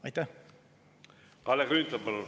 Kalle Grünthal, palun!